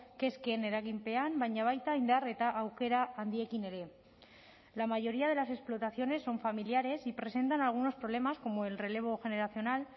kezken eraginpean baina baita indar eta aukera handiekin ere la mayoría de las explotaciones son familiares y presentan algunos problemas como el relevo generacional